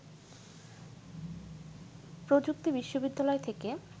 প্রযুক্তি বিশ্ববিদ্যালয় থেকে